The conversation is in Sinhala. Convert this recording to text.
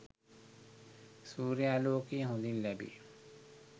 සූර්යාලෝකය හොඳින් ලැබේ.